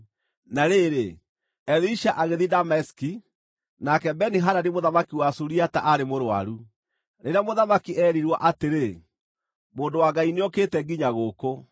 Na rĩrĩ, Elisha agĩthiĩ Dameski, nake Beni-Hadadi mũthamaki wa Suriata aarĩ mũrũaru. Rĩrĩa mũthamaki eerirwo atĩrĩ, “Mũndũ wa Ngai nĩokĩte nginya gũkũ,”